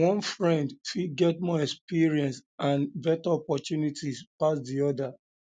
one friend fit get more experience and better opportunities pass di other